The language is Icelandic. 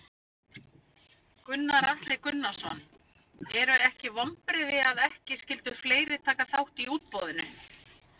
Gunnar Atli Gunnarsson: Eru ekki vonbrigði að ekki skyldu fleiri taka þátt í útboðinu?